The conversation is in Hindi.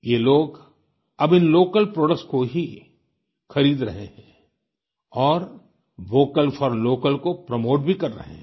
ये लोग अब इन लोकल प्रोडक्ट्स को ही खरीद रहे हैं और वोकल फोर लोकल को प्रोमोट भी कर रहे हैं